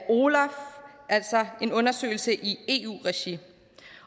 altså en undersøgelse i eu regi